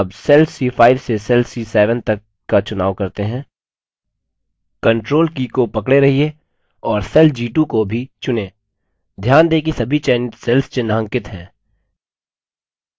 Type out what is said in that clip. अब cells c5 से cells c7 तक का चुनाव करते हैं ctrl की को पकड़े रहिये और cells g2 को भी चुनें ध्यान दें कि सभी चयनित cells चिन्हांकित हैं